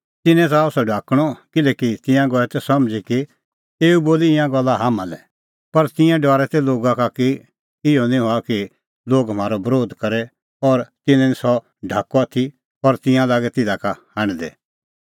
तिन्नैं च़ाहअ सह ढाकणअ किल्हैकि तिंयां गऐ तै समझ़ी कि एऊ बोली ईंयां गल्ला हाम्हां लै पर तिंयां डरै लोगा का कि इहअ निं हआ कि लोग म्हारअ बरोध करे और तिन्नैं निं सह ढाकअ आथी और तिंयां लागै तिधा का हांढदै